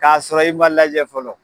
Ka sɔrɔ i ma lajɛ fɔlɔ